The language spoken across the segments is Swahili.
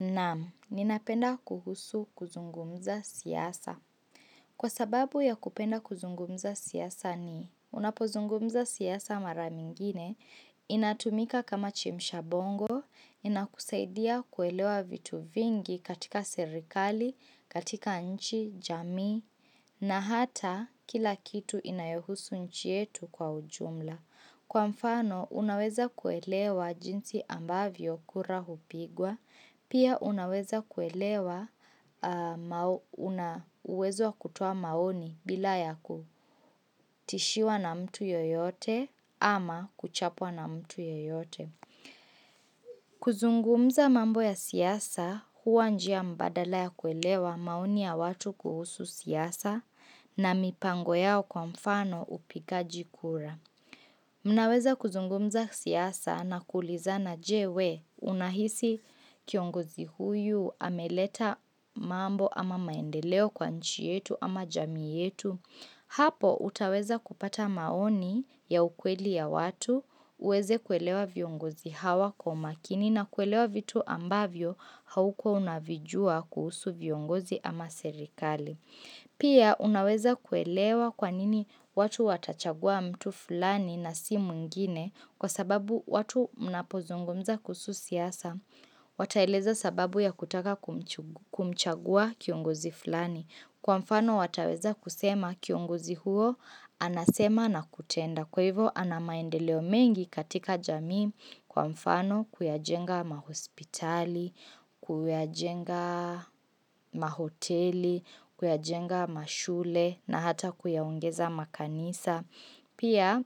Naam, ninapenda kuhusu kuzungumza siasa. Kwa sababu ya kupenda kuzungumza siasa ni, unapozungumza siasa mara mingine, inatumika kama chemshabongo, inakusaidia kuelewa vitu vingi katika serikali, katika nchi, jamii, na hata kila kitu inayohusu nchi yetu kwa ujumla. Kwa mfano, unaweza kuelewa jinsi ambavyo kura hupigwa, pia unaweza kuelewa aaah mao una uwezo kutuoa maoni bila ya kutishiwa na mtu yoyote ama kuchapwa na mtu yoyote. Kuzungumza mambo ya siasa huwa njia mbadala ya kuelewa maoni ya watu kuhusu siasa na mipango yao kwa mfano upikaji kura. Mnaweza kuzungumza siasa na kulizana je we unahisi kiongozi huyu ameleta mambo ama maendeleo kwa nchi yetu ama jamii yetu? Hapo utaweza kupata maoni ya ukweli ya watu, uweze kuelewa viongozi hawa kwa makini na kuelewa vitu ambavyo haukuwa unavijua kuhusu viongozi ama serikali. Pia unaweza kuelewa kwanini watu watachagua mtu fulani na si mwingine kwa sababu watu mnapozungumza kuhusu siasa. Wataeleza sababu ya kutaka kumchu kumchagua kiongozi fulani. Kwa mfano wataweza kusema kiongozi huo anasema na kutenda. Kwa hivyo ana maendeleo mengi katika jamii kwa mfano kuyajenga mahospitali, kuyajenga mahoteli, kuyajenga mashule na hata kuyaogeza makanisa. Pia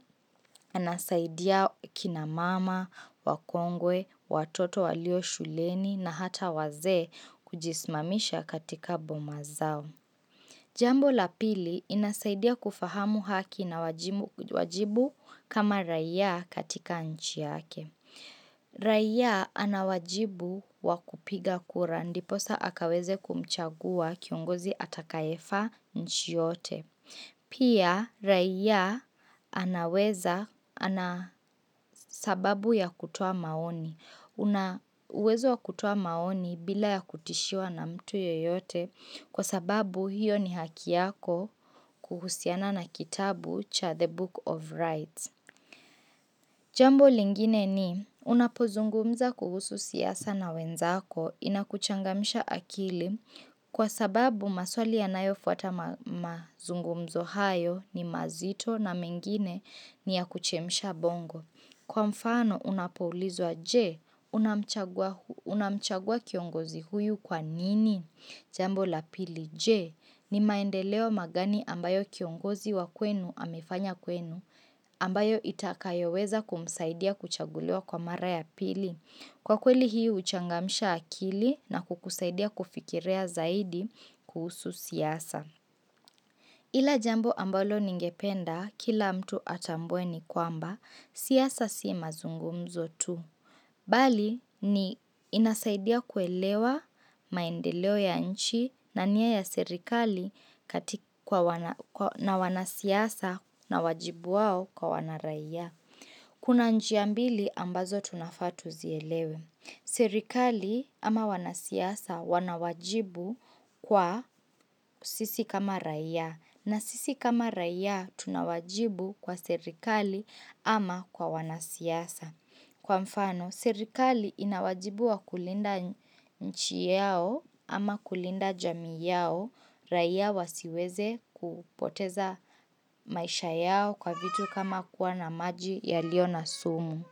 anasaidia kinamama, wakongwe, watoto walio shuleni na hata wazee kujisimamisha katika boma zao. Jambo la pili inasaidia kufahamu haki na wajimu wajibu kama raiya katika nchi yake. Raiya anawajibu wakupiga kura ndiposa akaweze kumchagua kiongozi atakayefaa nchi yote. Pia raiya anaweza, anasababu ya kutoa maoni. Una uwezo wa kutoa maoni bila ya kutishiwa na mtu yeyote kwa sababu hiyo ni haki yako kuhusiana na kitabu cha the book of rights Jambo lingine ni unapozungumza kuhusu siasa na wenzako inakuchangamsha akili kwa sababu maswali ya nayo fuata ma ma mazungumzo hayo ni mazito na mengine ni ya kuchemsha bongo kwa mfano unapoulizwa je unamchagua? Unamchagua kiongozi huyu kwa nini? Jambo la pili je, ni maendeleo magani ambayo kiongozi wa kwenu amefanya kwenu, ambayo itakayoweza kumsaidia kuchaguliwa kwa mara ya pili. Kwa kweli hii huchangamsha akili na kukusaidia kufikiria zaidi kuhusu siasa. Kila jambo ambalo ningependa kila mtu atambue ni kwamba siasa si mazungumzo tu. Bali ni inasaidia kwelewa maendeleo ya nchi na nia ya serikali katika na wanasiasa na wajibu wao kwa wana raia. Kuna njia mbili ambazo tunafaa tuzielewe. Serikali ama wanasiasa wanawajibu kwa sisi kama raia. Na sisi kama raia tunawajibu kwa serikali ama kwa wanasiasa. Kwa mfano, serikali inawajibu wa kulinda nchi yao ama kulinda jamii yao raia wasiweze kupoteza maisha yao kwa vitu kama kuwa na maji yaliyo na sumu.